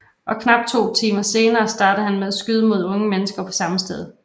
Og knap to timer senere startede han med at skyde mod unge mennesker på samme sted